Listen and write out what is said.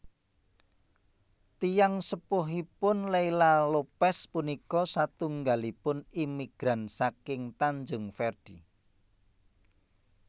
Tiyang sepuhipun Leila Lopes punika satunggalipun imigran saking Tanjung Verde